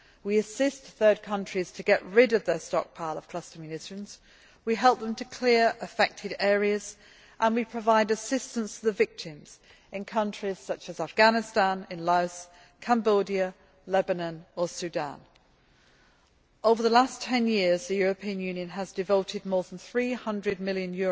We assist third countries in getting rid of their stockpile of cluster munitions, we help them to clear affected areas, and we provide assistance to the victims in countries such as Afghanistan, Laos, Cambodia, Lebanon or Sudan. Over the last 10 years, the European Union has devoted more than EUR 300 million